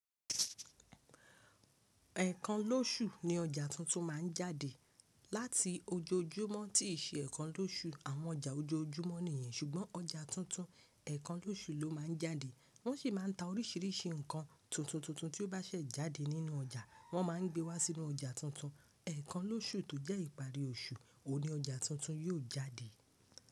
Ẹ̀ẹ̀kan lóṣù ni ọjà tuntun máa ń jáde. Láti ojojúmọ́ tí ì ṣe ẹ̀ẹ̀kan lóṣù, àwọn ọjà ojoojúmọ́ nìyẹn, ṣùgbọ́n ọjà tuntun ẹ̀ẹ̀kan lóṣù ló má a ń jáde. Wọ́n sì má a n ta oríṣìíríṣìí nǹkan tuntun tuntun tí ó bá ṣẹ̀ jáde nínú ọjà, wọ́n má a ń gbé wá sínú ọjà tuntun. Ẹ̀ẹ̀kan lóṣù tó jẹ́ ìparí oṣù, òun ní ọjà tuntun yóò jáde.